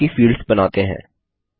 अब बाकी फील्ड्स बनाते हैं